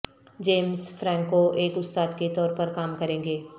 James Franco ایک استاد کے طور پر کام کریں گے